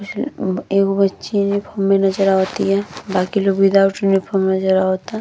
एगो बच्ची यूनिफार्म मे नज़र अवतिया। बाकि लोग विद्याऊट यूनिफार्म नज़र आवता।